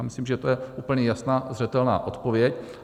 Já myslím, že to je úplně jasná, zřetelná odpověď.